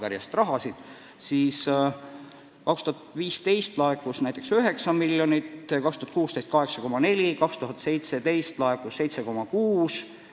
Aastal 2015 laekus näiteks 9 miljonit, 2016 – 8,4 miljonit, 2017 laekus 7,6 miljonit.